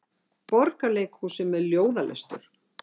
Borgarleikhúsið með ljóðalestur